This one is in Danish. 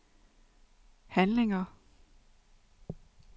handlinger